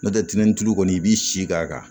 N'o tɛ tɛnɛntɛu kɔni i b'i si k'a kan